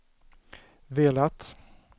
velat